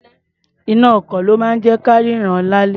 Iná-ọkọ̀ ló máa ń jẹ́ ka rínran lálẹ́.